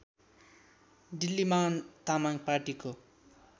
डिल्लीमान तामाङ पार्टीको